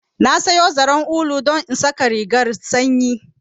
Na sayo zaren ulu don in saƙa rigarr sanyi